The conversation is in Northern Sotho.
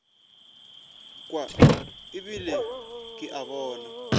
kwa ebile ke a bona